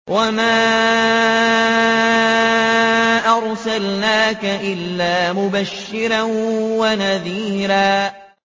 وَمَا أَرْسَلْنَاكَ إِلَّا مُبَشِّرًا وَنَذِيرًا